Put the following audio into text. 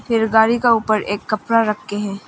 एक गाड़ी का ऊपर एक कपड़ा रखे हैं।